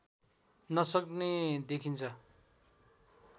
नसक्ने देखिन्छ